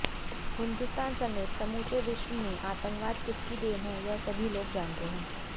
हिंदुस्तान समेत समूचे विश्व में आतंकवाद किसकी देन हैं यह सभी लोग जानते हैं